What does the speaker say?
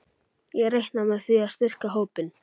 Ég reikna með því að styrkja hópinn.